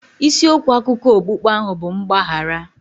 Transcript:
Isi okwu akụkọ okpukpe ahụ bụ mgbaghara.